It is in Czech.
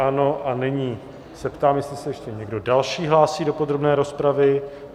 Ano, a nyní se ptám, jestli se ještě někdo další hlásí do podrobné rozpravy.